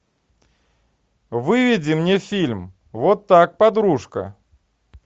выведи мне фильм вот так подружка